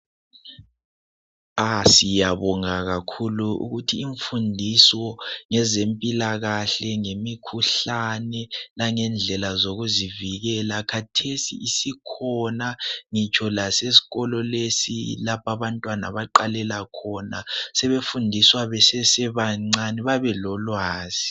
Siyabonga kakhulu ukuthi imfundiso ngezempilakahle , ngemikhuhlane langendlela zokuzivikela khathesi isikhona ngitsho lasesikolo lesi abantwana abaqalela khona sebefundiswa besesebancane babelolwazi.